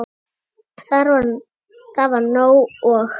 Það var nóg. og.